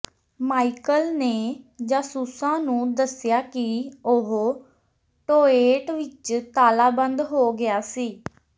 Michael ਨੇ ਜਾਸੂਸਾਂ ਨੂੰ ਦੱਸਿਆ ਕਿ ਉਹ ਟੋਏਟ ਵਿੱਚ ਤਾਲਾਬੰਦ ਹੋ ਗਿਆ ਸੀ